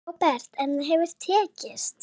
Róbert: En það hefur tekist?